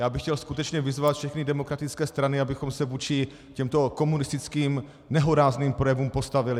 Já bych chtěl skutečně vyzvat všechny demokratické strany, abychom se vůči těmto komunistickým nehorázným projevům postavili!